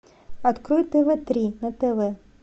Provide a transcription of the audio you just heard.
открой тв три на тв